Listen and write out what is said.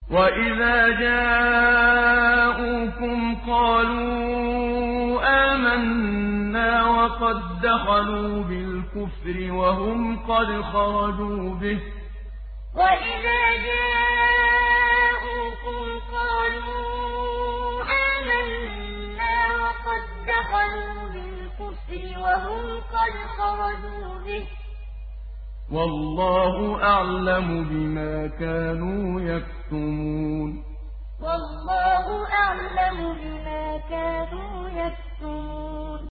وَإِذَا جَاءُوكُمْ قَالُوا آمَنَّا وَقَد دَّخَلُوا بِالْكُفْرِ وَهُمْ قَدْ خَرَجُوا بِهِ ۚ وَاللَّهُ أَعْلَمُ بِمَا كَانُوا يَكْتُمُونَ وَإِذَا جَاءُوكُمْ قَالُوا آمَنَّا وَقَد دَّخَلُوا بِالْكُفْرِ وَهُمْ قَدْ خَرَجُوا بِهِ ۚ وَاللَّهُ أَعْلَمُ بِمَا كَانُوا يَكْتُمُونَ